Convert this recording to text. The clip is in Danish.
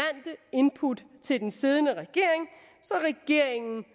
input til den siddende regering så regeringen